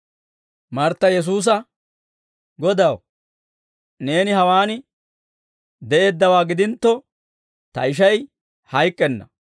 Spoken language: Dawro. Martta Yesuusa, «Godaw, neeni hawaan de'eeddawaa gidintto, ta ishay hayk'k'enna.